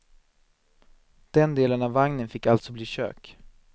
Den delen av vagnen fick alltså bli kök.